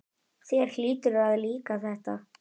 Þér hlýtur að líka þetta?